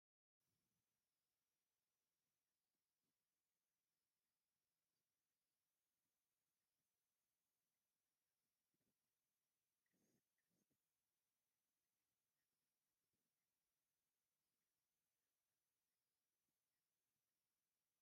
እዚ ኣብ ከተማ ሽረ ዝርከብ ላዕለዋይ ቤት ፍርዲ ዞባ ሰሜናዊ ምዕራብ መእተዊ ምልክት እዩ። እቲ ምልክት ብሓጺን ዝተሰርሐ ቅስት ኮይኑ፡ ብእንግሊዝኛን ትግርኛን ዝተጻሕፈ እዩ። እዚ ቤት ፍርዲ ኣብ ኣየናይ ክልል ኢትዮጵያ ከምዝርከብ ትፈልጡ ዶ?